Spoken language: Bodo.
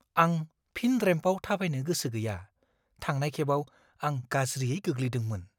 आं फिन रेम्पआव थाबायनो गोसो गैया। थांनाय खेबाव आं गाज्रियै गोग्लैदोंमोन।